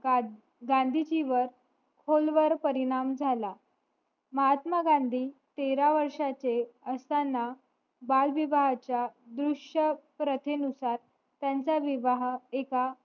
गांधीजी वर खोल वर परिणाम झाला महात्मा गांधी तेरा वर्ष चे असताना बाल विवाह च्या दृष्य प्रथे नुसार त्यांचा विवाह एका